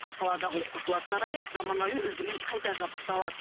ал қаладағы оқушылар сарайы заманауи үлгімен қайта жабдықталады